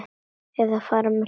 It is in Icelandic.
Eða fara með ljóð.